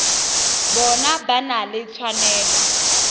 bona ba na le tshwanelo